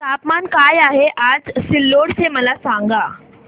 तापमान काय आहे आज सिल्लोड चे मला सांगा